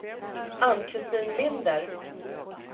Ann-Kristin Linder